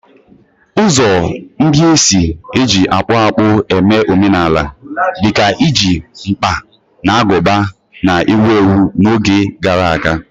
Ụzọ ndị e si eji akpụ akpụ eme omenala, dị ka iji mkpa na agụba, na-ewu ewu n'oge gara aga